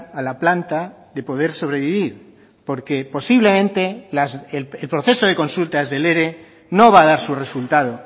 a la planta de poder sobrevivir porque posiblemente el proceso de consultas del ere no va a dar su resultado